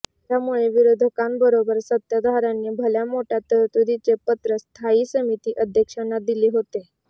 त्यामुळे विरोधकांबरोबर सत्ताधार्यांनी भल्यामोठ्या तरतूदींचे पत्र स्थायी समिती अध्यक्षांना दिली होते